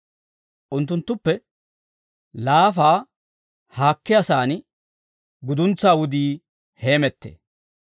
Unttunttuppe laafaa haakkiyaasan guduntsaa wudii heemettee.